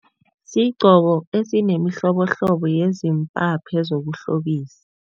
Sigqoko esinemihlobohlobo yezimpaphe zokuhlobisa.